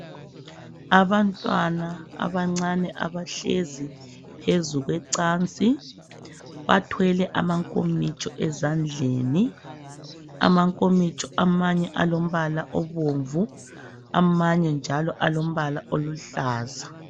Abantwana abancane abahlezi phezu kwecansi bathwele amankomitsho ezandleni amankomitsho amanye alombala obomvu amanye njalo alombala oluhlaza.